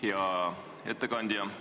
Hea ettekandja!